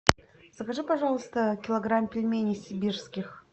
закажи пожалуйста килограмм пельменей сибирских